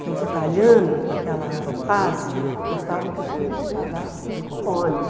Então, os italianos daquela fase gostavam que os filhos se casassem na colônia.